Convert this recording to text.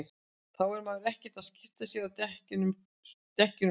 þá er maður ekkert að skipta sér að dekkjunum sko